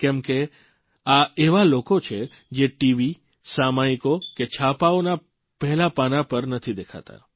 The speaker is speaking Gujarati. કેમ કે આ એવા લોકો છે જે ટીવી સામાયિકો કે છાપાઓનાં પહેલાં પાનાં પર નથી દેખાતાં